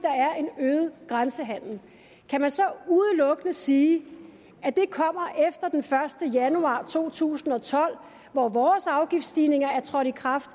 at øget grænsehandel kan man så udelukkende sige at det kommer efter den første januar to tusind og tolv hvor vores afgiftsstigninger er trådt i kraft